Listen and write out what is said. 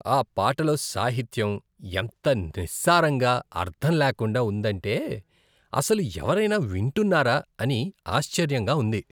ఆ పాటలో సాహిత్యం ఎంత నిస్సారంగా అర్థంలేకుండా ఉందంటే, అస్సలు ఎవరైనా వింటున్నారా అని ఆశ్చర్యంగా ఉంది.